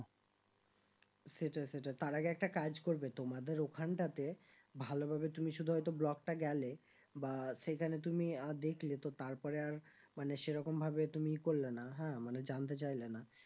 সেটাই সেটা তার আগে একটা কাজ করবে তোমাদের ওখানটা তে ভালো ভাবে তুমি শুধু হয়তো block টা গেলে বা সেখানে তুমি আহ দেখলে তো তারপরে আর মানে সেরকম ভাবে তুমি করলে না হ্যাঁ মানে জানতে চাইলে না